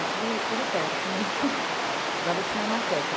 É tudo tudo perto, né, do lado da Cinemateca.